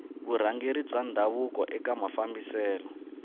vurhangeri bya ndhavuko eka mafambiselo